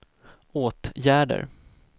åtgärder